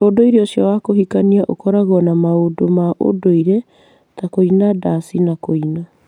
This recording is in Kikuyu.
Ũndũire ũcio wa kũhikania ũkoragwo na maũndũ ma ũndũire ta kũina ndathi na kũina.